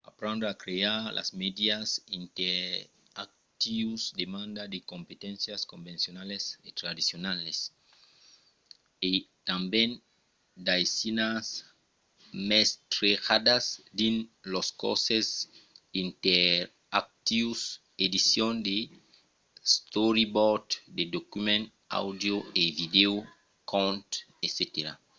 aprendre a crear de mèdias interactius demanda de competéncias convencionalas e tradicionalas e tanben d'aisinas mestrejadas dins los corses interactius edicion de storyboards de documents àudios e vidèos contes etc.